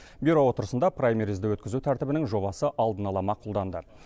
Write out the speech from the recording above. бюро отырысында праймеризді өткізу тәртібінің жобасы алдын ала мақұлданды